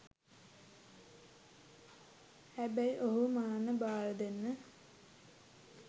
හැබැයි ඔහුව මරන්න බාරදෙන්න